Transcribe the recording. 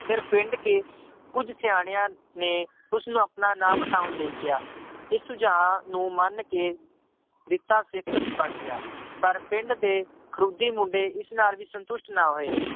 ਫਿਰ ਪਿੰਡ ਕੇ ਕੁੱਝ ਸਿਆਣਿਆਂ ਨੇ ਉਸਨੂੰ ਆਪਣਾ ਨਾਂ ਵਟਾਉਣ ਲਈ ਕਿਹਾ, ਇਹ ਸੁਝਾਅ ਨੂੰ ਮੰਨ ਕੇ ਜਿੱਤਾ ਸਿੱਖ ਬਣ ਗਿਆ ਪਰ ਪਿੰਡ ਦੇ ਖਰੋਡੀ ਮੁੰਡੇ ਇਸ ਨਾਲ ਵੀ ਸੰਤੁਸ਼ਟ ਨਾ ਹੋਏ।